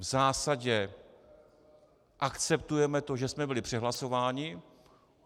V zásadě akceptujeme to, že jsme byli přehlasováni.